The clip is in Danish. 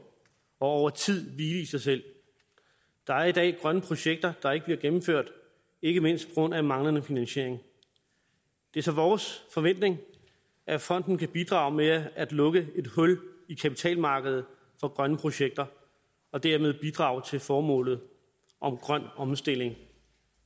og over tid hvile i sig selv der er i dag grønne projekter der ikke bliver gennemført ikke mindst på grund af manglende investering det er så vores forventning at fonden kan bidrage med at lukke et hul i kapitalmarkedet for grønne projekter og dermed bidrage til formålet om en grøn omstilling